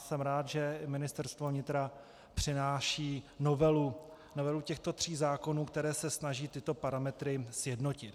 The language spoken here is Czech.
Jsem rád, že Ministerstvo vnitra přináší novelu těchto tří zákonů, které se snaží tyto parametry sjednotit.